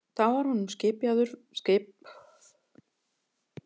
Þá var honum skipaður verjandi